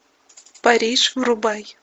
париж врубай